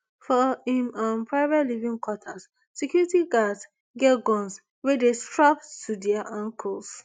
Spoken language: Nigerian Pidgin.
for im um private living quarters security guards get guns wey dey strapped to to dia ankles